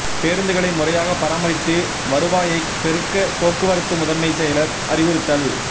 பேருந்துகளை முறையாக பராமரித்து வருவாயைப் பெருக்க போக்குவரத்து முதன்மை செயலா் அறிவுறுத்தல்